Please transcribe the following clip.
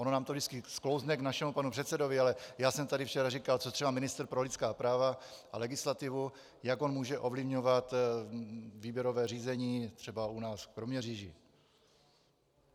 Ono nám to vždycky sklouzne k našemu panu předsedovi, ale já jsem tady včera říkal, co třeba ministr pro lidská práva a legislativu, jak on může ovlivňovat výběrové řízení, třeba u nás v Kroměříži.